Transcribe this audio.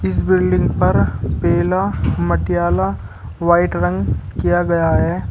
इस बिल्डिंग पर पेला मटियाला व्हाइट रंग किया गया है।